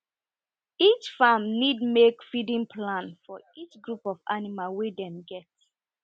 each farm need make feeding plan for each group of animal wey dem get